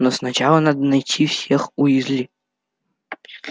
но сначала надо найти всех уизли